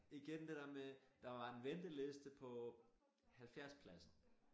Igen det dér med der var en venteliste på 70 pladser